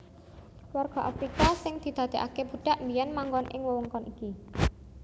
Warga Afrika sing didadèkaké budhak biyèn manggon ing wewengkon iki